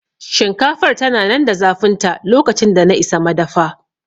Shinkafar tana nan da zafinta lokacin da na isa madafa